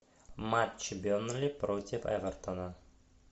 матч бернли против эвертона